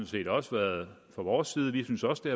set også været fra vores side vi synes også det